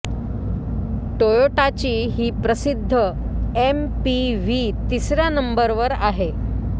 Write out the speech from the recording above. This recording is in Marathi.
टोयोटाची ही प्रसिद्ध एमपीवी तिसऱ्या नंबर वर आहे